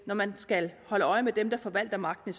når man skal holde øje med dem der forvalter magten